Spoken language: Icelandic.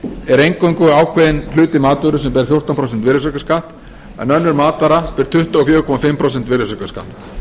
er eingöngu ávkðeinn hluti matvörur sem ber fjórtán prósent virðisaukaskatt en önnur matvara ber tuttugu og fjögur komma fimm prósenta virðisaukaskatt